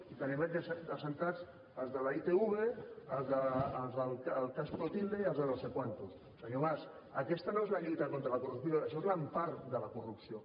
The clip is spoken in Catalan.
si tenim aquí asseguts els de la itv els del cas clotilde i els de no sé quantos senyor mas aquesta no és la lluita contra la corrupció això és l’empara de la corrupció